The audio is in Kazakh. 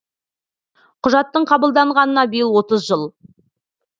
құжаттың қабылданғанына биыл отыз жыл